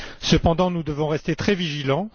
Cependant, nous devons rester très vigilants.